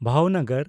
ᱵᱷᱟᱣᱱᱚᱜᱚᱨ